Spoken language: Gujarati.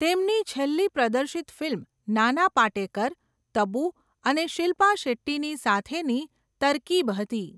તેમની છેલ્લી પ્રદર્શિત ફિલ્મ નાના પાટેકર, તબુ અને શિલ્પા શેટ્ટીની સાથેની તરકીબ હતી.